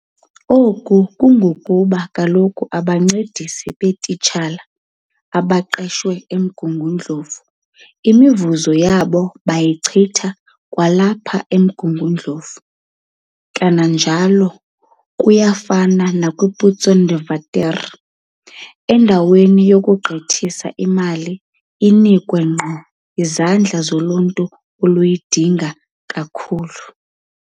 Oku kungokuba kaloku abancedisi beetitshala abaqeshwe eMgungundlovu imivuzo yabo bayichitha kwalapha eMgungundlovu. Kananjalo kuyafana nakwi-Putsonderwater. Endaweni 'yokugqithiselwa' imali iphinde inikwe ngqo izandla zoluntu oluyidinga kakhulu.